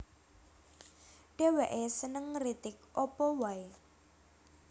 Dhèwèké seneng ngritik apa waé